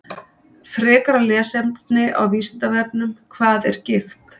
Frekara lesefni á Vísindavefnum Hvað er gigt?